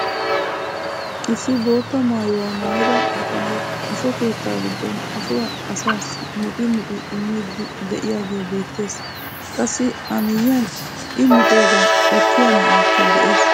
Issi bootta maayuwaa maayida bitanee asho keettaa giddon ashuwaa asaassi muxi muxi immiiddi de'iyaagee beettees. qassi a miyiyan i muxoogaa ekkiyaa na'aykka de'ees.